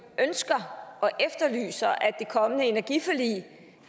ønsker og efterlyser at det kommende energiforlig